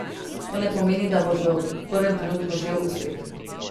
To ne pomeni, da boš v prvem trenutku žel uspeh.